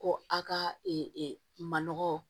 Ko a ka manɔgɔ